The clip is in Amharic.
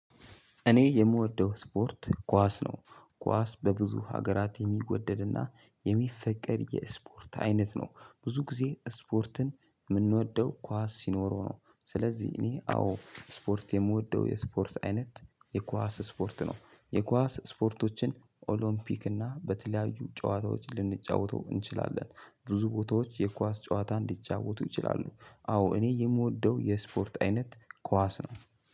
እኔ የምወደው እስፖርት ኳስ ነው። ኳስ በብዙ ሀገራት የሚወደድና የሚፈቀድ የስፖርት አይነት ነው። ብዙ ጊዜ ስፖርትን ምንወደው ኳስ ሲኖረው ነው። ስለዚህ እኔ አዎ ስፖርት የምወደው የስፖርት አይነት የኳስ ስፖርት ነው። የኳስ ስፖርቶችን ኦሎፒክ እና በተለያዩ ጨዋታዎች ልንጫወተው እንችላለን። ብዙ ቦታዎች የኳስ ጨዋታ እንዲጫወቱ ይችላሉ። አዎ እኔ የምወደው የስፖርት አይነት ኳስ ነው።